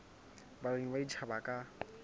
balemi ba batjha ba ka